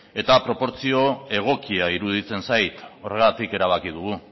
eta proportzio egokia iruditzen zait horregatik erabaki dugu